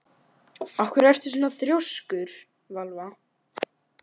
Af hverju ertu svona þrjóskur, Valva?